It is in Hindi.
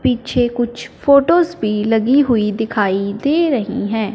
पीछे कुछ फोटोस भी लगी हुई दिखाई दे रही हैं।